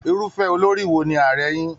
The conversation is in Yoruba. Irufẹ olori wo ni Ààrẹ yín?